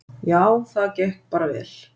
Já, það gekk bara vel.